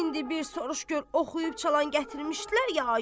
İndi bir soruş gör oxuyub çalan gətirmişdilər ya yox?